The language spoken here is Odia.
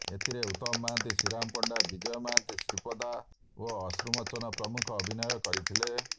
ଏଥିରେ ଉତ୍ତମ ମହାନ୍ତି ଶ୍ରୀରାମ ପଣ୍ଡା ବିଜୟ ମହାନ୍ତି ଶ୍ରୀପ୍ରଦା ଓ ଅଶ୍ରୁମୋଚନ ପ୍ରମୁଖ ଅଭିନୟ କରିଥିଲେ